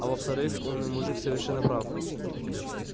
а во-вторых умный мужик совершенно прав